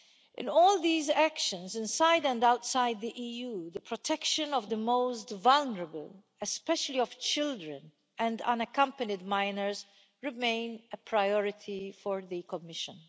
In all these actions inside and outside the EU, the protection of the most vulnerable, especially of children and unaccompanied minors, remains a priority for the Commission.